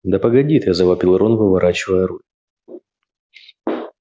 да погоди ты завопил рон выворачивая руль